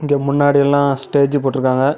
இங்க முன்னாடி எல்லா ஸ்டேஜ் போட்ருக்காங்க.